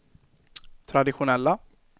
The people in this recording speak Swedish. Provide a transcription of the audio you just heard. traditionella